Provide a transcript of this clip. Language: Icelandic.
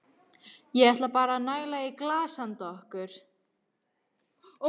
Ég ætla bara að næla í glas handa okkur.